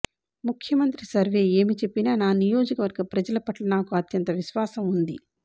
ముఖ్యమం త్రి సర్వే ఏమి చెప్పినా నా నియోజకవర్గ ప్రజల పట్ల నాకు అత్యంత విశ్వాసం ఉంది